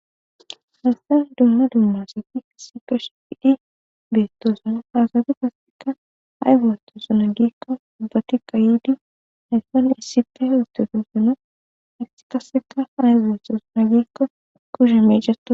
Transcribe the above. Hayssan dumma dumma asttu issippe shiqi bettossona.ha asatti gaththan ayba oththosonna giiko ubbattikka yiidi payddon issippe gaganaw hachchi qasekka ay oththosonna giiko kushsheppe mecitidayssa.